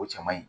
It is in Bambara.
O cɛ man ɲi